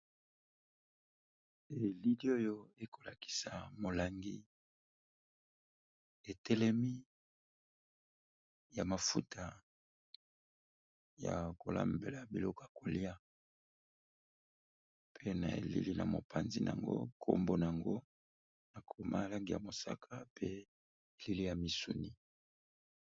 Elili oyo ekolakisa molangi etelemi ya mafuta ya kolambela biloko ya kolia, pe na elili na mopanzi na yango nkombona yango naomalangi ya mosaka pe elili ya misuni.